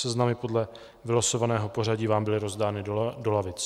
Seznamy podle vylosovaného pořadí vám byly rozdány do lavic.